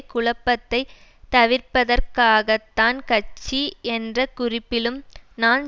குழப்பத்தை தவிர்ப்பதற்காகத்தான் கட்சி என்ற குறிப்பிலும் நான்